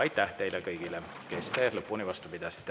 Aitäh teile kõigile, kes te lõpuni vastu pidasite!